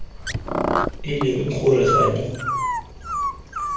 e leng gore ga di